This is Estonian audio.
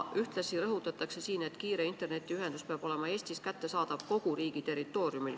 Ühtlasi rõhutatakse siin, et kiire internetiühendus peab olema Eestis kättesaadav kogu riigi territooriumil.